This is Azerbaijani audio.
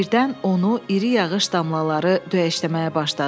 Birdən onu iri yağış damlaları döyməyə başladı.